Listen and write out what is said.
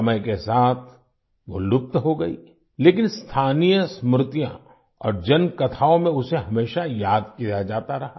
समय के साथ वो लुप्त हो गई लेकिन स्थानीय स्मृतियाँ और जनकथाओं में उसे हमेशा याद किया जाता रहा